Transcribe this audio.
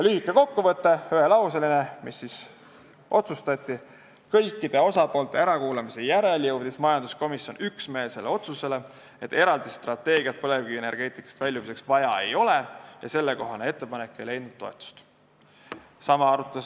Lühike ühelauseline kokkuvõte, mis siis otsustati: kõikide osapoolte ärakuulamise järel jõudis majanduskomisjon üksmeelsele otsusele, et eraldi strateegiat põlevkivienergeetikast väljumiseks vaja ei ole, ja sellekohane ettepanek ei leidnud toetust.